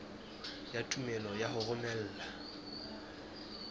ya tumello ya ho romela